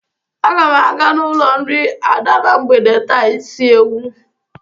Aga m aga n'ụlọ nri Ada na mgbede taa isi ewu.